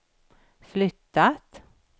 flyttat